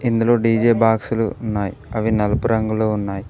ఇందులో డీజే బాక్సులు ఉన్నాయి అవి నలుపు రంగులో ఉన్నాయి.